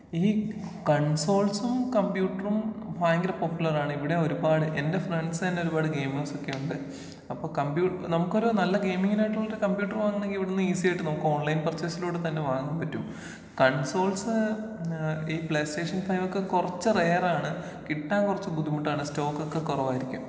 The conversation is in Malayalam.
ഈ കൺസോൾസും കമ്പ്യൂട്ടറും ഭയങ്കര പോപ്പുലറാണ് ഇവിടേ ഒരുപാട് എന്റെ ഫ്രണ്ട്സന്നേ ഒരുപാട് ഗെയിംമേർസൊക്കെയുണ്ട്.അപ്പൊ കമ്പ്യൂ, നമുക്കൊരു നല്ല ഗെയ്മിങ്ങിന് ആയിട്ടുള്ള ഒരു കമ്പ്യൂട്ടറ് വാങ്ങാണമെങ്കിൽ ഇവിടുന്ന് ഈസി ആയിട്ട് നമുക്ക് ഓൺലൈൻ പർച്ചേസിലൂടെ തന്നെ വാങ്ങാൻ പറ്റും.കൺസോൾസ് ഏഹ് ഈ പ്ലേ സ്റ്റേഷൻ ഫൈവ് ഒക്കെ കൊറച്ച് റയറാണ് കിട്ടാൻ കൊറച്ച് ബുദ്ധിമുട്ടാണ് സ്റ്റോക്ക് ഒക്കെ കൊറവായിരിക്കും.